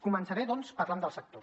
començaré doncs parlant del sector